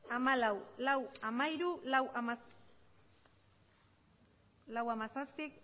hamalau lau puntu hamairu lau puntu hamazazpi